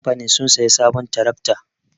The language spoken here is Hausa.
Kamfanin sun sayi sabon tirakta